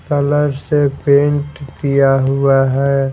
Colour से paint किया हुआ है।